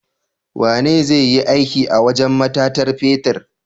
Wane zai iya aiki a wajan matatar fetir?